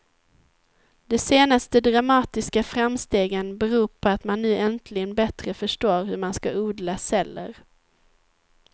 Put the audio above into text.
De senaste dramatiska framstegen beror på att man nu äntligen bättre förstår hur man ska odla celler.